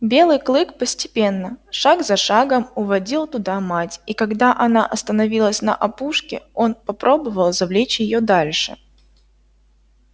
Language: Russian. белый клык постепенно шаг за шагом уводил туда мать и когда она остановилась на опушке он попробовал завлечь её дальше